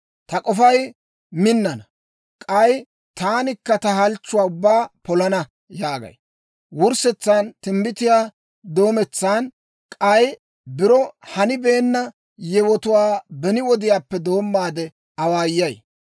‹Ta k'ofay minnana; k'ay taanikka ta halchchuwaa ubbaa polana› yaagay. Wurssetsan timbbitiyaa doometsan, k'ay biro hanibeenna yewotuwaa beni wodiyaappe doommaade awaayay.